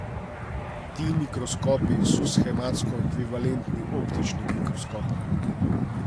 Ti mikroskopi so shematsko ekvivalentni optičnim mikroskopom.